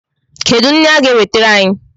Kedu nri ha ga-ewetara anyị?